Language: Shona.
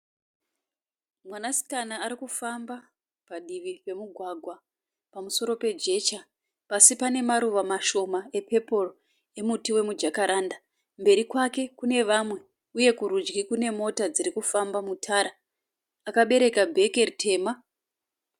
Mwanasikana ari kufamba padivi pemugwagwa pamusoro pejecha. Pasi pane maruva mashoma epepuro emuti wemujakaranda. Mberi kwake kune vamwe uye kurudyi kune mota dziri kufamba mutara. Akabereka bheke ritema.